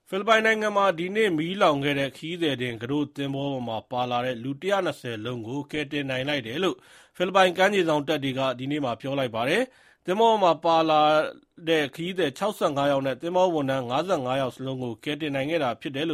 ဖိလစ်ပိုင်နိုင်ငံမှာ ဒီနေ့ မီးလောင်မှုဖြစ်ခဲ့တဲ့ ခရီးသည်တင် ကူးတို့သင်္ဘောပေါ်မှာပါတဲ့ လူ ၁၂၀ စလုံးကို ကယ်တင်နိုင်ခဲ့တယ်လို့ ဖိလစ်ပိုင် ကမ်းခြေစောင့်တပ်က ဒီနေ့ ပြောလိုက်ပါတယ်။ သင်္ဘောပေါ်မှာ လိုက်ပါလာတဲ့ ခရီးသည် ၆၅ ယောက် နဲ့ သင်္ဘောဝန်ထမ်း ၅၅ ယောက်လုံးကို ကယ်တင်နိုင်ခဲ့တာ ဖြစ်ပါတယ်